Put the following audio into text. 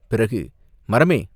பிறகு, "மரமே!